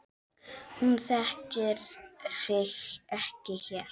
Hún þekkir sig ekki hér.